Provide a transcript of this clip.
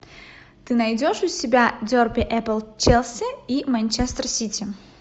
ты найдешь у себя дерби апл челси и манчестер сити